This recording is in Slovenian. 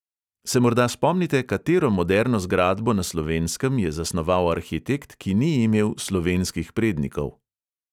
Se morda spomnite, katero moderno zgradbo na slovenskem je zasnoval arhitekt, ki ni imel slovenskih prednikov?